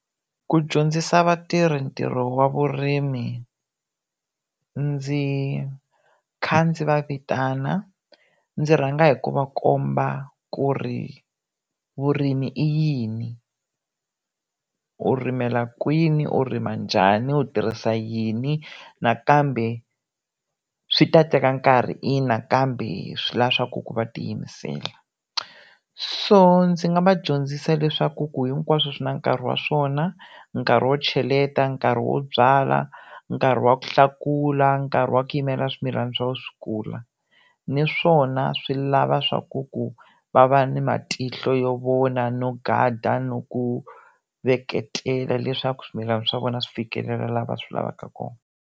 Ku dyondzisa vatirhi ntirho wa vurimi ndzi kha ndzi va vitana. Ndzi rhanga hi ku va komba ku ri vurimi i yini, u ri yimela kwini, u rima njhani, u tirhisa yini, nakambe swi ta teka nkarhi ina kambe swi la swaku va tiyimisela. So ndzi nga va dyondzisa leswaku ku hinkwaswo swi na nkarhi wa swona, nkarhi wo cheleta, nkarhi wo byala, nkarhi wa ku hlakula, nkarhi wa ku yimela swimilana swa wena swi kula. Naswona swi lava swaku ku va va ni matihlo yo vona no gada no ku veketela, leswaku swimilana swa vona swi fikelela la va swi lavaka kona.